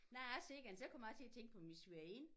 Når jeg ser den så kommer jeg også til at tænke på min svigerinde